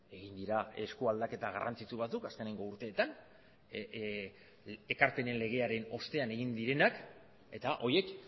egin dira esku aldaketa garrantzitsu batzuk azkeneko urteetan ekarpenen legearen ostean egin direnak eta horiek